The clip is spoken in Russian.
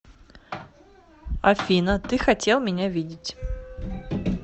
афина ты хотел меня видеть